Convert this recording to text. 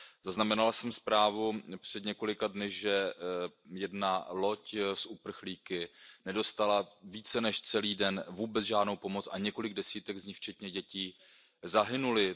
Zaznamenal jsem zprávu před několika dny, že jedna loď s uprchlíky nedostala více než celý den vůbec žádnou pomoc a několik desítek z nich včetně dětí zahynuli.